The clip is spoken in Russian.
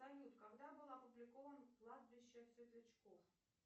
салют когда был опубликован кладбище светлячков